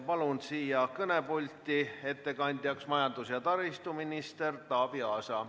Palun siia kõnepulti ettekandjaks majandus- ja taristuminister Taavi Aasa.